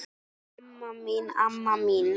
Ó, amma mín, amma mín!